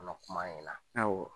Kuma in ɲa,